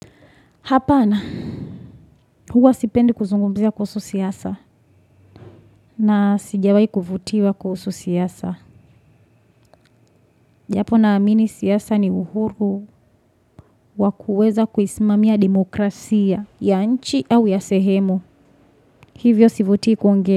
Hapana, huwa sipendi kuzungumzia kuhusu siasa na sijawahi kuvutiwa kuhusu siasa. Japo na amini siasa ni uhuru wa kuweza kuisimamia demokrasia ya nchi au ya sehemu. Hivyo sivutii kuongea.